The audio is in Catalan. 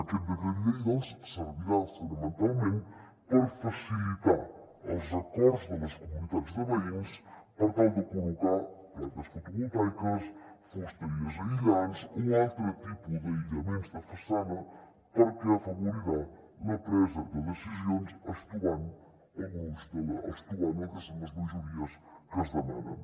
aquest decret llei doncs servirà fonamentalment per facilitar els acords de les comunitats de veïns per tal de col·locar plaques fotovoltaiques fusteries aïllants o altre tipus d’aïllaments de façana perquè afavorirà la presa de decisions estovant el que són les majories que es demanen